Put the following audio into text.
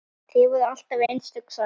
Þið voruð alltaf einstök saman.